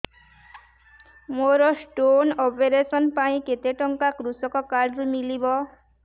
ମୋର stone operation ପାଇଁ କେତେ ଟଙ୍କା କୃଷକ କାର୍ଡ ରୁ ମିଳିବ